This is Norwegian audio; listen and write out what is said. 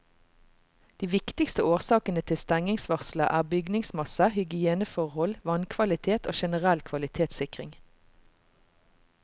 De viktigste årsakene til stengningsvarselet er bygningsmasse, hygieneforhold, vannkvalitet og generell kvalitetssikring.